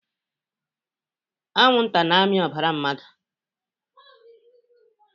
Anwụnta na-amị ọbara mmadụ